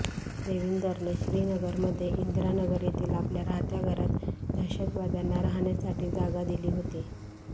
देविंदरने श्रीनगरमध्ये इंदिरा नगर येथील आपल्या राहत्या घरात दहशतवाद्यांना राहण्यासाठी जागा दिली होती